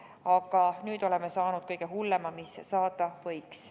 Aga nüüd oleme saanud kõige hullema, mis saada võis.